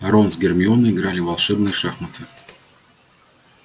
рон с гермионой играли в волшебные шахматы